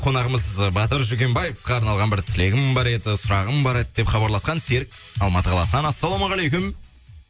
қонағымыз батыр жүкембаевқа арналған бір тілегім бар еді сұрағым бар еді деп хабарласқан серік алматы қаласынан ассалаумағалейкүм